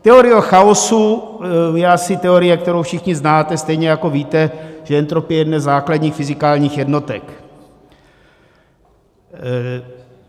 Teorie chaosu je asi teorie, kterou všichni znáte, stejně jako víte, že entropie je jedna ze základních fyzikálních jednotek.